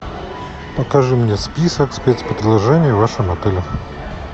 покажи мне список спецпредложений в вашем отеле